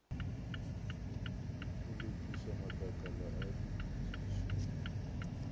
go lokiša matlakala a dipotšišo